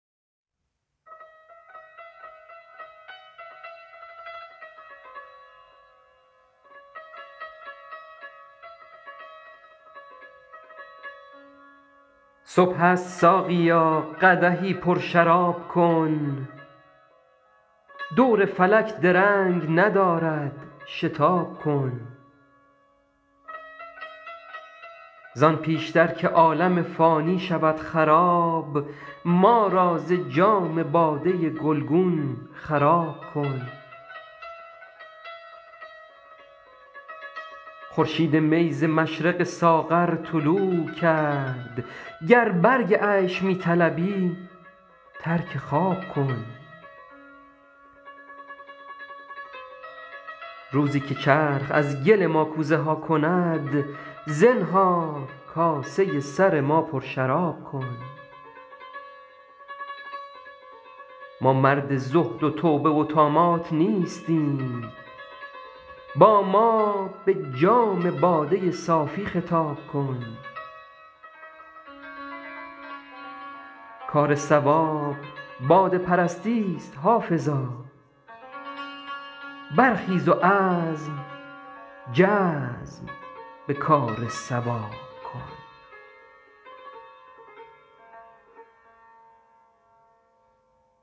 صبح است ساقیا قدحی پرشراب کن دور فلک درنگ ندارد شتاب کن زان پیش تر که عالم فانی شود خراب ما را ز جام باده گلگون خراب کن خورشید می ز مشرق ساغر طلوع کرد گر برگ عیش می طلبی ترک خواب کن روزی که چرخ از گل ما کوزه ها کند زنهار کاسه سر ما پرشراب کن ما مرد زهد و توبه و طامات نیستیم با ما به جام باده صافی خطاب کن کار صواب باده پرستی ست حافظا برخیز و عزم جزم به کار صواب کن